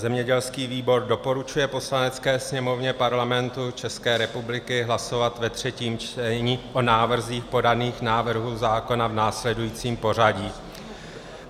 Zemědělský výbor doporučuje Poslanecké sněmovně Parlamentu České republiky hlasovat ve třetím čtení o návrzích podaných návrhů zákona v následujícím pořadí.